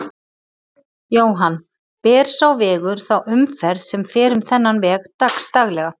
Jóhann: Ber sá vegur þá umferð sem fer um þennan veg dags daglega?